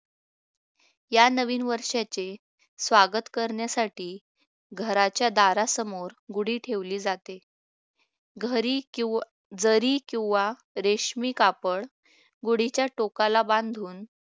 या नवीन वर्षाचे स्वागत करण्यासाठी घराच्या दारासमोर गुढी ठेवली जाते जरी किंवा रेशमी कापड गुढीच्या टोकाला बांधून